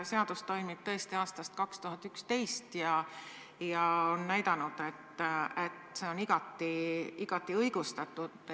Seadus toimib tõesti aastast 2011 ja on näidanud, et see on igati õigustatud.